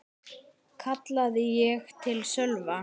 kallaði ég til Sölva.